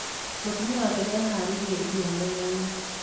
Mutumia wake nĩ aharĩirie irio metha-inĩ